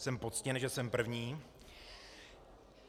Jsem poctěn, že jsem první.